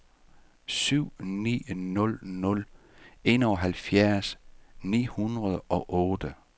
syv ni nul nul enoghalvfjerds ni hundrede og otte